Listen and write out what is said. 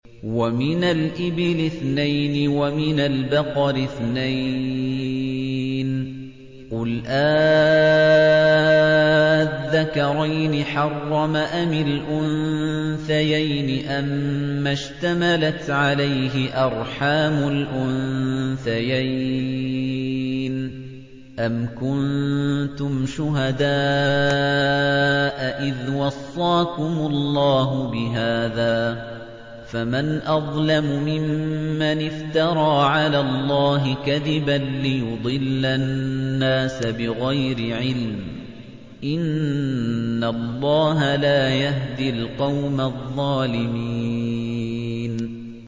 وَمِنَ الْإِبِلِ اثْنَيْنِ وَمِنَ الْبَقَرِ اثْنَيْنِ ۗ قُلْ آلذَّكَرَيْنِ حَرَّمَ أَمِ الْأُنثَيَيْنِ أَمَّا اشْتَمَلَتْ عَلَيْهِ أَرْحَامُ الْأُنثَيَيْنِ ۖ أَمْ كُنتُمْ شُهَدَاءَ إِذْ وَصَّاكُمُ اللَّهُ بِهَٰذَا ۚ فَمَنْ أَظْلَمُ مِمَّنِ افْتَرَىٰ عَلَى اللَّهِ كَذِبًا لِّيُضِلَّ النَّاسَ بِغَيْرِ عِلْمٍ ۗ إِنَّ اللَّهَ لَا يَهْدِي الْقَوْمَ الظَّالِمِينَ